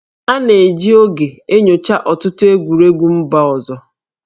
A na-eji oge enyocha ọtụtụ egwuregwu mba ọzọ